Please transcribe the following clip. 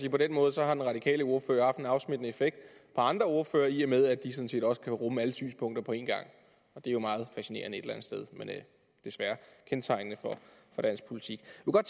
at på den måde har den radikale ordfører haft en afsmittende effekt på andre ordførere i og med at de sådan set også kan rumme alle synspunkter på en gang det er jo meget fascinerende et eller andet sted men desværre kendetegnende for dansk politik